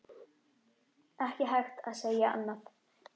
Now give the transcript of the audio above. Ekki hægt að segja annað.